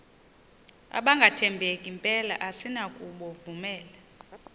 abangathembeki mpela asinakubovumela